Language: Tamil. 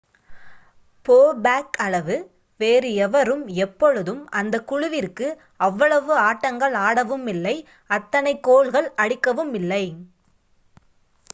போ பேக் அளவு வேறு எவரும் எப்பொழுதும் அந்த குழுவிற்கு அவ்வளவு ஆட்டங்கள் ஆடவுமில்லை அத்தனை கோல்கள் அடிக்கவுமில்லை